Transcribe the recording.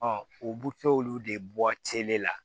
u bu to olu de bɔ la